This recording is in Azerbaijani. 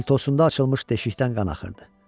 Paltosunda açılmış deşikdən qan axırdı.